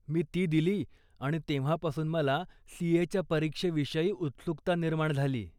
मी ती दिली आणि तेव्हापासून मला सी.ए.च्या परीक्षेविषयी उत्सुकता निर्माण झाली.